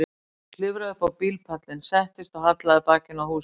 Ég klifraði upp á bílpallinn, settist og hallaði bakinu að húsinu.